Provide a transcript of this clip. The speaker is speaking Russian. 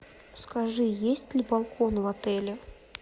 скажи есть ли балкон в отеле